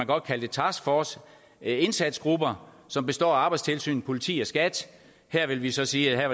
godt kalde det taskforce indsatsgrupper som består af arbejdstilsynet politi og skat her vil vi så sige at